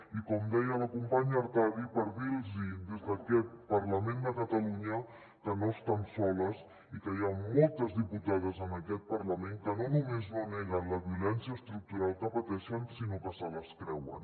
i com deia la companya artadi per dir los des d’aquest parlament de catalunya que no estan soles i que hi han moltes diputades en aquest parlament que no només no neguen la violència estructural que pateixen sinó que se les creuen